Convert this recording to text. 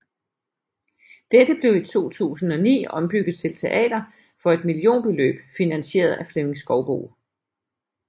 Dette blev i 2009 ombygget til teater for et millionbeløb finansieret af Flemming Skouboe